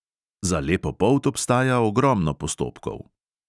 Za lepo polt obstaja ogromno postopkov.